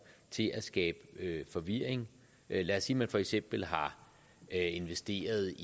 til at skabe forvirring lad os sige at man for eksempel har investeret